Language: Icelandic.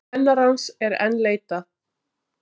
Kennarans enn leitað